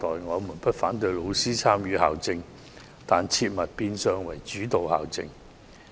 我們不反對老師參與校政，但絕對不能變成主導校政。